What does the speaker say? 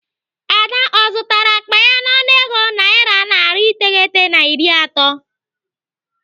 Ada ọ zụtara akpa ya n'ọnụego naira narị iteghete na iri atọ?